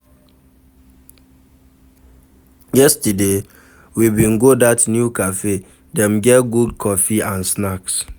Yesterday, we bin go dat new cafe, dem get good coffee and snacks.